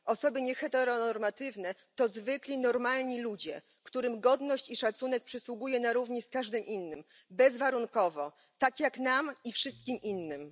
Osoby nieheteronormatywne to zwykli, normalni ludzie, którym godność i szacunek przysługuje na równi z każdym innym, bezwarunkowo, tak jak nam i wszystkim innym.